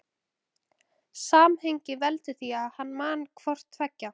Samhengið veldur því að hann man hvort tveggja.